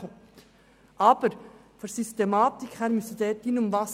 Von der Systematik her sollte er dort eingefügt werden.